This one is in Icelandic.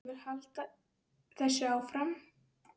Ég vil halda þessu áfram.